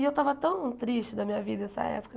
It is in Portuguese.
E eu estava tão triste da minha vida essa época.